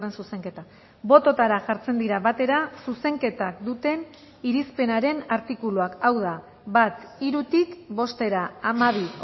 zuzenketa bototara jartzen dira batera zuzenketak duten irispenaren artikuluak hau da bat hirutik bostera hamabi